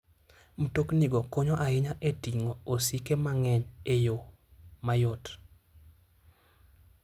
Mtoknigo konyo ahinya e ting'o osike mang'eny e yo mayot.